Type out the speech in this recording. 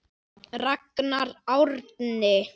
Ragnar Árni.